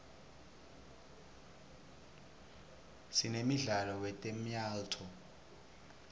sinemdlalo wetemyalto